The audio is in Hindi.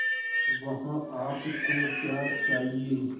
वहाँ आप को क्या चाहिए